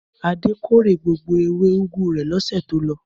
Adé kórè gbogbo ewé úgú rẹ̀ lọ́sẹ̀ tó lọ.